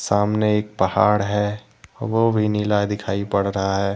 सामने एक पहाड़ है वो भी नीला दिखाई पड़ रहा है।